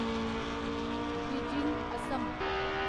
Dwijing Assam